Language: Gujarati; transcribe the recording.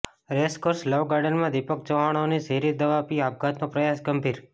રેેસકોર્ષ લવ ગાર્ડનમાં દિપક ચોૈહાણનો ઝેરી દવા પી આપઘાતનો પ્રયાસઃ ગંભીર